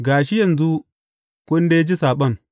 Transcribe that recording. Ga shi, yanzu kun dai ji saɓon.